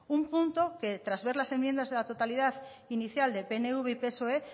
un punto que tras ver las enmiendas de la totalidad inicial de pnv y psoe